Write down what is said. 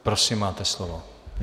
Prosím, máte slovo.